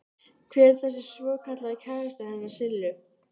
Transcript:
Hver er þessi svokallaði kærasti hennar Sillu?